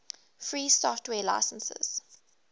free software licenses